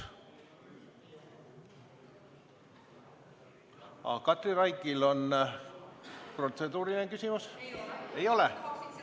Kas Katri Raigil on protseduuriline küsimus?